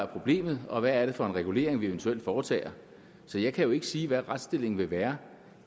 problemet var og hvad det er for en regulering vi eventuelt foretager så jeg kan jo ikke sige hvad retsstillingen vil være